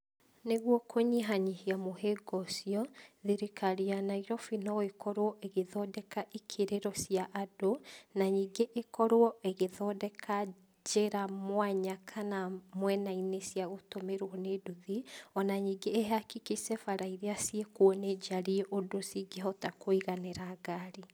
Nĩguo kũnyihanyihia mũhĩnga ũcio, thirikari ya Nairobi no ĩkorwo ĩgĩthondeka ikĩrĩro cia andũ, na ningĩ ĩkorwo ĩgĩthondeka njĩra mwanya kana mwena-inĩ cia gũtũmĩrwo nĩ nduthi. Ona ningĩ ĩhakikice bara iria ciĩkuo nĩ njarie ũndũ cingĩhota kũiganĩra ngari.